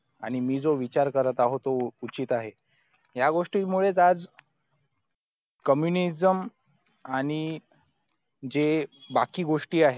मी जो विचार करत आहोत तो उचित आहे या गोष्टी मुळेच आज communism आणि जे बाकी गोष्टी आहेत